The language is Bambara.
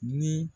Ni